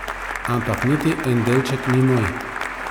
Ampak niti en delček ni moj.